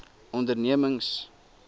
ondernemings